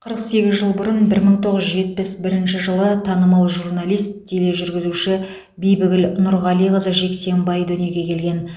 қырық сегіз жыл бұрын бір мың тоғыз жүз жетпіс бірінші жылы танымал журналист тележүргізуші бибігүл нұрғалиқызы жексенбай дүниеге келген